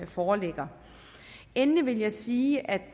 foreligger endelig vil jeg sige at